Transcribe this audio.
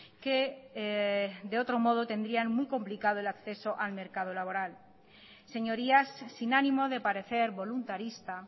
que de otro modo tendrían muy complicado el acceso al mercado laboral señorías sin ánimo de parecer voluntarista